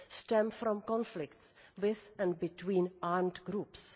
stem from conflicts with and between armed groups.